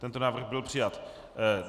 Tento návrh byl přijat.